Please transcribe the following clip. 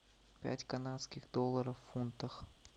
пять канадских долларов в фунтах